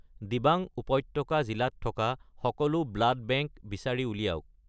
দিবাং উপত্যকা জিলাত থকা সকলো ব্লাড বেংক বিচাৰি উলিয়াওক